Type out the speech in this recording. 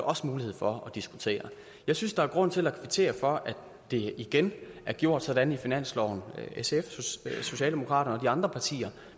også mulighed for at diskutere jeg synes der er grund til at kvittere for at det igen er gjort sådan i finansloven af sf socialdemokraterne andre partier